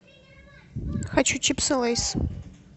хочу чипсы лейс